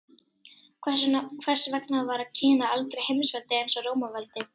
Hvers vegna varð Kína aldrei heimsveldi eins og Rómaveldi?